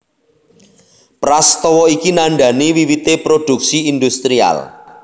Prastawa iki nandhani wiwité produksi industrial